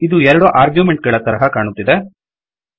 ಇದು ೨ ಆರ್ಗ್ಯುಮೆಂಟ್ ಗಳ ತರಹ ಕಾಣುತ್ತಿದೆ